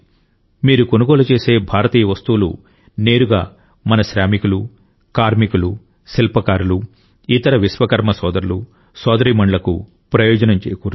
మీరు కొనుగోలు చేసే భారతీయ వస్తువులు నేరుగా మన శ్రామికులు కార్మికులు శిల్పకారులు ఇతర విశ్వకర్మ సోదరులు సోదరీమణులకు ప్రయోజనం చేకూరుస్తాయి